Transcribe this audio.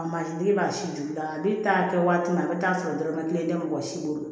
A mansinden b'a si juya ne t'a kɛ waati min a bɛ taa sɔrɔ dɔrɔmɛ kelen tɛ mɔgɔ si bolo